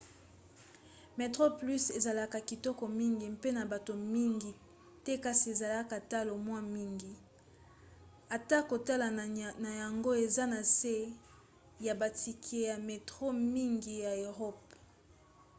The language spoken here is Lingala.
metroplus ezalaka kitoko mingi mpe na bato mingi te kasi ezalaka talo mwa mingi atako talo na yango eza na se ya batike ya metro mingi ya eropa